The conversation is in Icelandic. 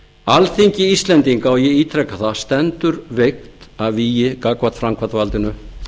alþingi íslendinga og ég ítreka það stendur veikt að vígi gagnvart framkvæmdarvaldinu